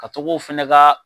Ka tog'o fana ka